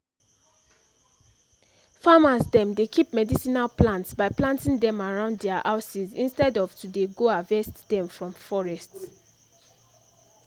farmers dem dey keep medicinal plants by planting dem around dia houses instead of to dey go harvest dem from forest